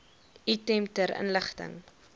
item ter inligting